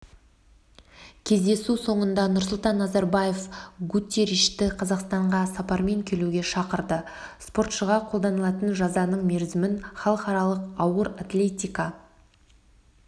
кездесу соңында нұрсұлтан назарбаев гутерришті қазақстанға сапармен келуге шақырды спортшыға қолданылатын жазаның мерзімін халықаралық ауыр атлетика